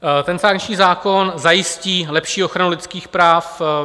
Ten sankční zákon zajistí lepší ochranu lidských práv.